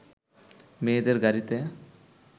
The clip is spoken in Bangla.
মেয়েদের গাড়ীতে